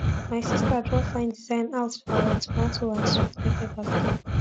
my sista draw fine design out for our tomato and sweet pepper basket